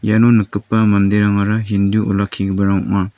iano nikgipa manderangara hindu olakkigiparang ong·a.